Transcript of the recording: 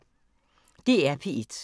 DR P1